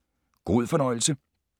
God fornøjelse